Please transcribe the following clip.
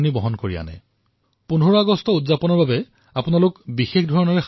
স্বাধীনতাৰ এই পৰ্ব উদযাপন কৰাৰ বাবে নতুন পদ্ধতি বিচাৰক